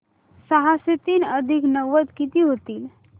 सहाशे तीन अधिक नव्वद किती होतील